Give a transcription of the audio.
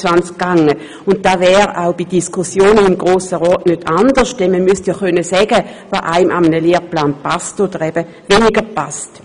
Das wäre auch bei Diskussionen im Grossen Rat nicht anders, denn man müsste sagen können, was einem an einem Lehrplan passt oder eben weniger passt.